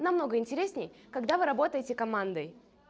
намного интересней когда вы работаете командой